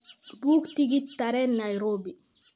buug tigidh tareen nairobi